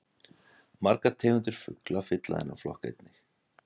Margar tegundir fugla fylla þennan flokk einnig.